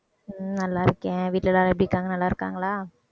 உம் நல்லா இருக்கேன் வீட்டுல எல்லாரும் எப்படி இருக்காங்க நல்லா இருக்காங்களா?